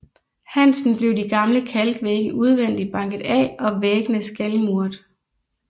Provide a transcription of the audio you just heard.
Hansen blev de gamle kalk vægge udvendigt banket af og væggene skalmuret